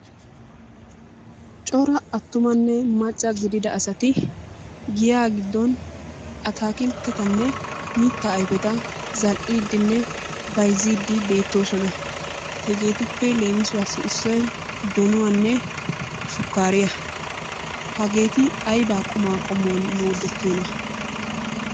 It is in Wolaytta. Cora attumanne maccaa gidida asati giya giddon atakilttetanne mitta ayfeta zal"idenne bayzzide beettoosona. Hegeruppe leemissuwasi issoy donuwanne shukaariya. Hageeti aybba quma qommuwan moodetiyoona?